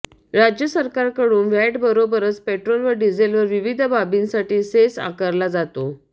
राज्य सरकारकडून व्हॅटबरोबरच पेट्रोल व डिझेलवर विविध बाबींसाठी सेस आकारला जातो